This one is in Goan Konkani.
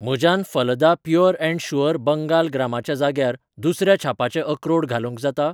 म्हज्यान फलदा प्युअर अँड शुअर बँगाल ग्रामाच्या जाग्यार दुसऱ्या छापाचें अक्रोड घालूंक जाता?